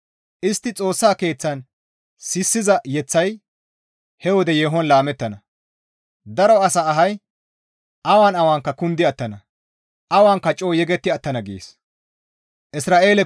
«Istti Xoossa Keeththan sissiza yeththay he wode yeehon laamettana; daro asa ahay awan awanka kundi attana; awanka coo yegetti attana» gees.